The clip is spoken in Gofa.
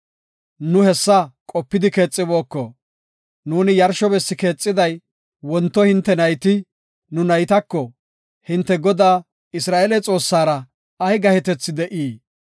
Nu hessa qopidi keexibooko. Nuuni yarsho bessi keexiday, wonto hinte nayti, nu naytako, ‘Hintew Godaa, Isra7eele Xoossara ay gahetethi de7ii?